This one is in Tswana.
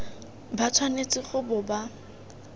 ba tshwanetse go bo ba